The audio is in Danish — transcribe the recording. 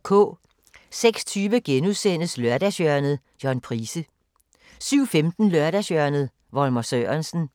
06:20: Lørdagshjørnet - John Price * 07:15: Lørdagshjørnet – Volmer Sørensen